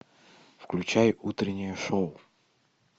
включай утреннее шоу